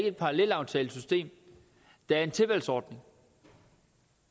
et parallelaftalesystem der er en tilvalgsordning